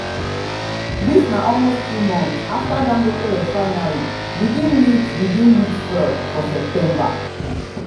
dis na almost two months afta dangote refinery begin lift begin lift fuel for september.